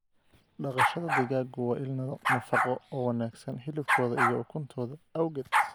Dhaqashada digaaggu waa il nafaqo oo wanaagsan hilibkooda iyo ukuntooda awgeed.